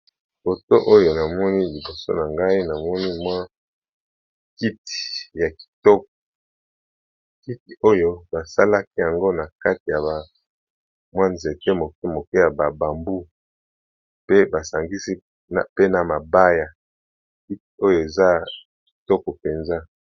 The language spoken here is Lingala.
Foto oyo namoni liboso na ngai namoni mwa kiti ya kitoko kiti oyo basalaki yango na kati ya mwa nzete moke moke ya ba bambu pe basangisi pe na mabaya kiti oyo eza kitoko mpenza.